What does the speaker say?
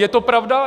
Je to pravda?